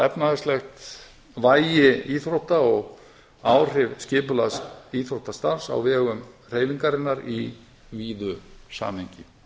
efnahagslegt vægi íþrótta og áhrif skipulegs íþróttastarfs á vegum hreyfingarinnar í víðu samhengi